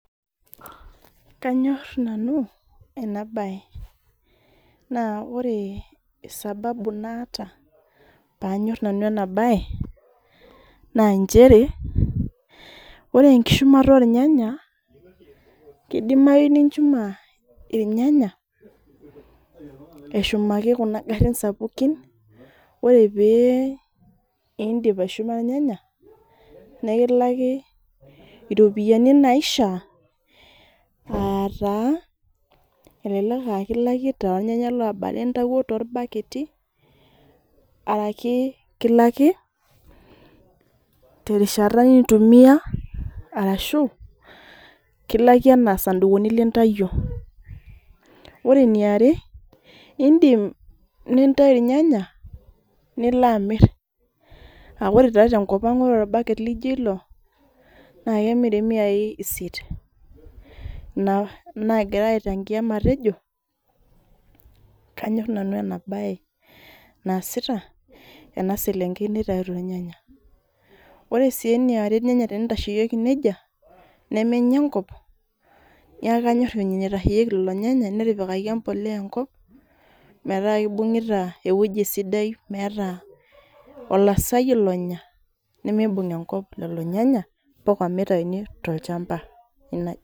Kanyor nanu ena bae ,naa ore sababu naata pee anyor nanu ena bae ,na nchere ore enkishumata ornyanya ,keidimayu ninchuma irnyanya ashumaki Kuna garin sapukin, ore pee eindip aishuma irnyanya ,nekilaki ropiyiani naishaa ,elelek kilaki tornyanya looba lintayio torbaketi ,orashu kilaki terishata nintumiya arashu kilaki enaa sandukuni lintayio. Ore eniare indim nintayu irnyanya nilo amir. Amu ore taa tenkopang ore orbaket laijo ilo naa kemiri miyai isiet. Ina naagira aichangia matejo ,kanyor nanu ena bae ena selenkei nitayuto irnyanya. Ore sii eniare irnyanya tenitasheyieki nejia, nemenya enkop neeku kanyor ina naitasheyieki lilo nyanya netipikaki embolea enkop metaa kibungita eweji sidai, metaa meeta olaasani lonya nemibung enkop ileo nyanya mpaka mitayuni tolchampa.